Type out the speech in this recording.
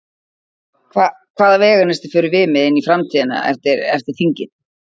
Hvað, hvaða veganesti förum við með inn í framtíðina eftir, eftir þingið?